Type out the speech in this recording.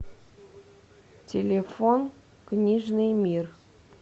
телефон книжный мир